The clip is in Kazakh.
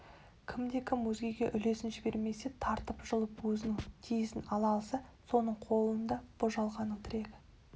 кімде-кім өзгеге үлесін жібермесе тартып-жұлып өзінің тиесісін ала алса соның қолында бұ жалғанның тірегі